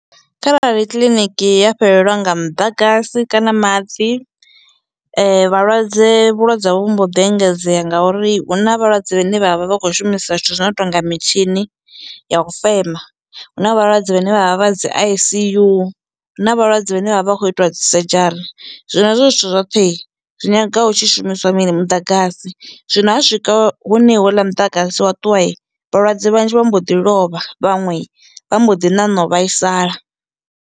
Kharali kiḽiniki ya fhelelwa nga muḓagasi kana maḓi vhalwadze vhulwadze havho vhu mbo ḓi engedzea ngauri hu na vhalwadze vhane vha vha vha vha kho shumisa zwithu zwino tonga mitshini ya u fema, huna vhalwadze vhane vha vha vha dzi ICU, huna vhalwadze vhane vha vha kho itwa dzi surgery zwino hezwo zwithu zwoṱhe i zwi nyanga hu tshi shumiswa mini muḓagasi zwino ha swika hune houḽa muḓagasi wa ṱuwa i vhalwadze vhanzhi vha mbo ḓi lovha vhaṅwe vha mbo ḓi ṋaṋa u vhaisala.